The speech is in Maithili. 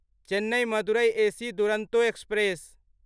Chennai Madurai AC Duronto express